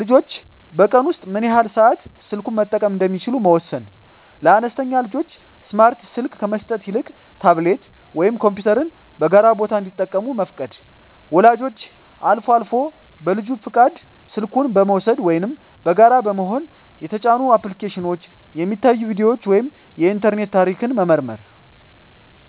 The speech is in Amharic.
ልጆች በቀን ውስጥ ምን ያህል ሰዓት ስልኩን መጠቀም እንደሚችሉ መወሰን። ለአነስተኛ ልጆች ስማርት ስልክ ከመስጠት ይልቅ ታብሌት ወይም ኮምፒውተርን በጋራ ቦታ እንዲጠቀሙ መፍቀድ። ወላጆች አልፎ አልፎ በልጁ ፈቃድ ስልኩን በመውሰድ (ወይም በጋራ በመሆን) የተጫኑ አፕሊኬሽኖች፣ የሚታዩ ቪዲዮዎች ወይም የኢንተርኔት ታሪክ መመርመር።